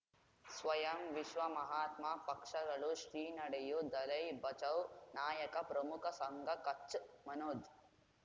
ಸ್ವಯಂ ವಿಶ್ವ ಮಹಾತ್ಮ ಪಕ್ಷಗಳು ಶ್ರೀ ನಡೆಯೂ ದಲೈ ಬಚೌ ನಾಯಕ ಪ್ರಮುಖ ಸಂಘ ಕಚ್ ಮನೋಜ್